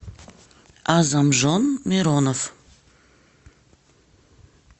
азамжон миронов